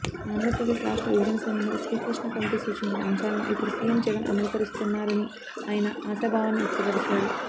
ఆంధ్రప్రదేశ్ రాష్ట్ర విభజన సమయంలో శ్రీకృష్ణ కమిటీ సూచించిన అంశాలను ఇప్పుడు సీఎం జగన్ అమలుపరుస్తున్నారని ఆయన ఆశాభావాన్ని వ్యక్తపరిచారు